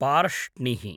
पार्ष्णिः